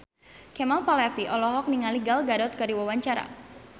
Kemal Palevi olohok ningali Gal Gadot keur diwawancara